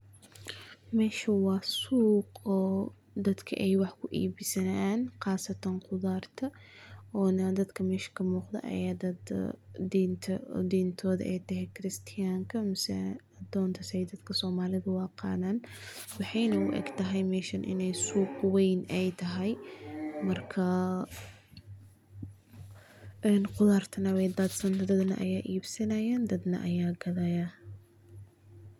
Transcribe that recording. Meeshu waa suuq oo dadku wax ku ibsanaaya qaasatan qudaarta, dadka mesha ka muuqdo diinta aay tahay adoonta, waxay u eg tahay inaay tahay suuq weyn.